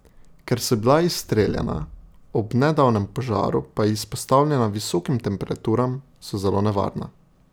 Ker so bila izstreljena, ob nedavnem požaru pa izpostavljena visokim temperaturam, so zelo nevarna.